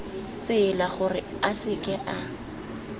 tsela gore a seke a